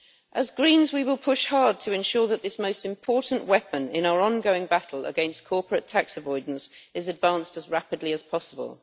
As Greens we will push hard to ensure that this most important weapon in our ongoing battle against corporate tax avoidance is advanced as rapidly as possible.